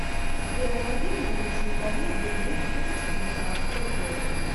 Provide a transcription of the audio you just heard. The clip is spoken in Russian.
сбер найди мне лучшие комедии две тысячи девятнадцатого года